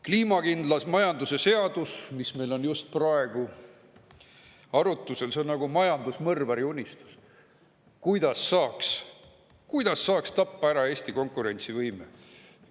Kliimakindla majanduse seadus, mis on praegu arutusel, on nagu majandusmõrvari unistus: kuidas saaks tappa ära Eesti konkurentsivõime?